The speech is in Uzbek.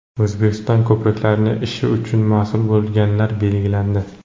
O‘zbekistonda Ko‘priklarning ishi uchun mas’ul bo‘lganlar belgilandi.